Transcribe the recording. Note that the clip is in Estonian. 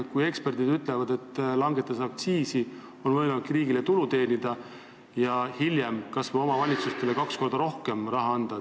Eksperdid ju ütlevad, et aktsiise langetades on võimalik riigile tulu teenida ja hiljem kas või omavalitsustele kaks korda rohkem raha anda.